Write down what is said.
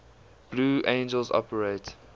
blue angels operate